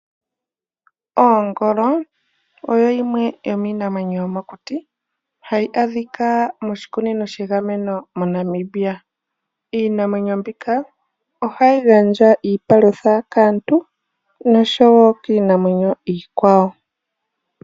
Oongolo odho dhimwe dhomiinamwenyo yomokuti hayi adhika moshikunino sha gamenwa moNamibia. Iinamwenyo mbino ohayi gandja iipalutha kaantu nosho wo kiinamwenyo iikwawo.